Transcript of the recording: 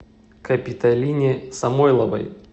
капиталине самойловой